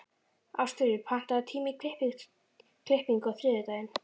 Ástfríður, pantaðu tíma í klippingu á þriðjudaginn.